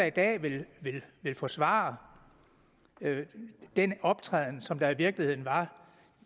i dag der vil forsvare den optræden som der i virkeligheden var